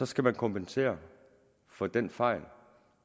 skal man kompensere for den fejl